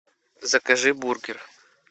закажи бургер